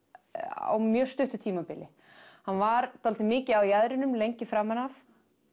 á mjög stuttu tímabili hann var dálítið mikið á jaðrinum lengi framan af